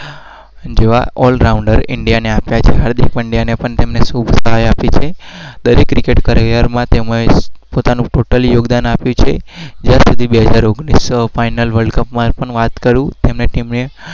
જેવા ઓલરાઉન્ડર